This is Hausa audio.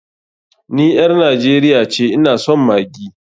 Ni ƴar Najeriya ce, ina son maggi.